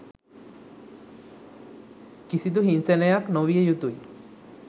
කිසිදු හිංසනයක් නොවිය යුතුයි